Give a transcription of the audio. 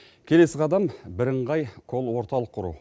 келесі қадам бірыңғай кол орталық құру